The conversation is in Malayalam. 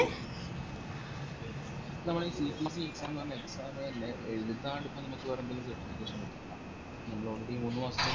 ഇപ്പൊ നമ്മള് CPC exam ന്ന് പറഞ്ഞ exam ലെ എഴ്താണ്ട് ഇപ്പൊ നമുക്ക് വേറെന്തെങ്കിലും കിട്ടുവ already മൂന്നുമാസ